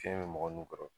Fiɲɛ bɛ mɔgɔ min kɔrɔ